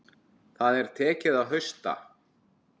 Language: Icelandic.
Það er tekið að hausta.